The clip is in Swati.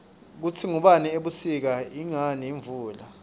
kutsi kungani ebusika ingani imvula